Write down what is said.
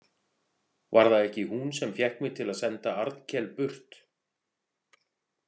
Var það ekki hún sem fékk mig til að senda Arnkel burt?